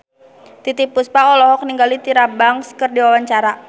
Titiek Puspa olohok ningali Tyra Banks keur diwawancara